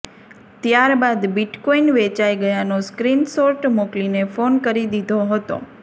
ત્યારબાદ બિટકોઇન વેચાઇ ગયાનો સ્ક્રીન શોર્ટ મોકલીને ફોન કરી દીધો હતો